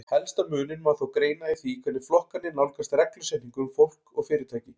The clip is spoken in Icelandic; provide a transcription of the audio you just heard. Helsta muninn má þó greina í því hvernig flokkarnir nálgast reglusetningu um fólk og fyrirtæki.